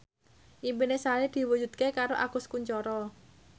impine Sari diwujudke karo Agus Kuncoro